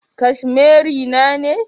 Cashmere na ne